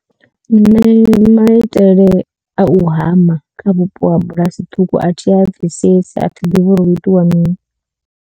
Nṋe maitele a u hama kha vhupo ha bulasi ṱhukhu a thi a bvisesi a thi ḓivhi uri hu itiwa mini.